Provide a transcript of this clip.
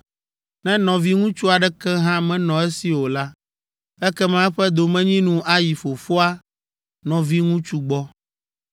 Ne nɔviŋutsu aɖeke hã menɔ esi o la, ekema eƒe domenyinu ayi fofoa nɔviŋutsu gbɔ.